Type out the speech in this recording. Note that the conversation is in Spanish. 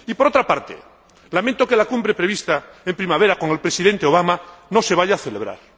Y, por otra parte, lamento que la cumbre prevista en primavera con el Presidente Obama no se vaya a celebrar.